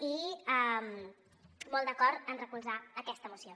i molt d’acord en recolzar aquesta moció